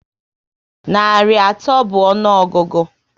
Narị atọ bụ ọnụọgụgụ